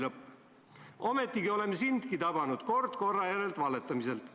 " Ometigi oleme sindki tabanud kord korra järel valetamiselt.